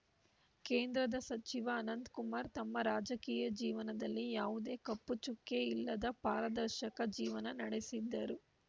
ಕೇಂದ್ರದ ಸಚಿವ ಅನಂತಕುಮಾರ್‌ ತಮ್ಮ ರಾಜಕೀಯ ಜೀವನದಲ್ಲಿ ಯಾವುದೇ ಕಪ್ಪು ಚುಕ್ಕೆ ಇಲ್ಲದೆ ಪಾರದರ್ಶಕ ಜೀವನ ನಡೆಸಿದ್ದರು